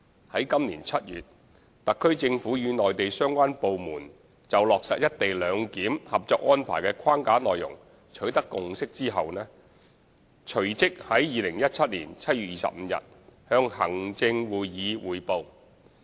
在今年7月，特區政府與內地相關部門就落實"一地兩檢"《合作安排》的框架內容取得共識後，隨即在2017年7月25日向行政會議匯報。